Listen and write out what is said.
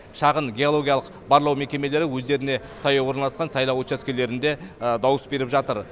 шағын геологиялық барлау мекемелері өздеріне таяу орналасқан сайлау учаскелерінде дауыс беріп жатыр